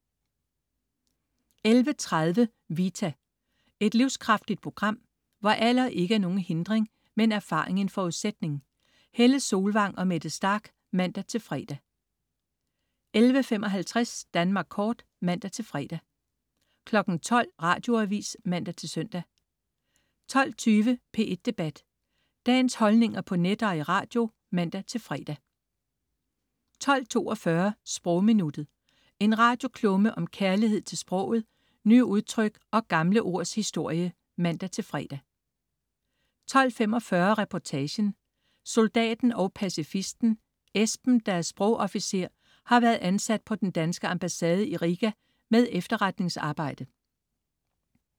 11.30 Vita. Et livskraftigt program, hvor alder ikke er nogen hindring, men erfaring en forudsætning. Helle Solvang og Mette Starch (man-fre) 11.55 Danmark Kort (man-fre) 12.00 Radioavis (man-søn) 12.20 P1 Debat. Dagens holdninger på net og i radio (man-fre) 12.42 Sprogminuttet. En radioklumme om kærlighed til sproget, nye udtryk og gamle ords historie (man-fre) 12.45 Reportagen: Soldaten og pacifisten. Esben, der er sprogofficer, har været ansat på den danske ambassade i Riga med efterretningsarbejde